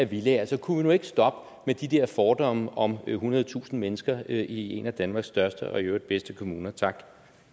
villaer så kunne vi nu ikke stoppe med de der fordomme om ethundredetusind mennesker i en af danmark største og i øvrigt bedste kommuner tak